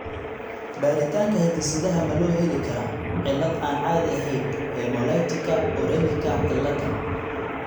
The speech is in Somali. Baaritaanka hidde-sidaha ma loo heli karaa cillad aan caadi ahayn hemolyticka uremicka ciladha?